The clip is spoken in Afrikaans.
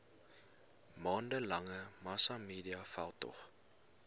maande lange massamediaveldtog